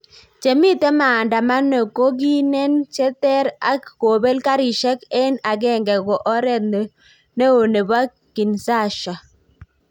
Chemiten maandamano kokinen cheter ak kopel garishek en agenge ko oret ne o nepo kinsaha